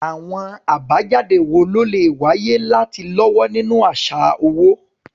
Àwọn àbájáde wo ló lè wáyé láti lọ́wọ́ nínú àṣà owó?